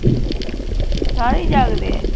ਸਾਰੇ ਹੀ ਜਾਗਦੇ ਐ